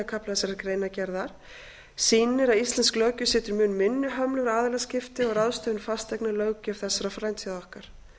kafla þessarar greinargerðar sýnir að íslensk löggjöf setur mun minni hömlur á aðilaskipti og ráðstöfun fasteigna en löggjöf þessara frændþjóða okkar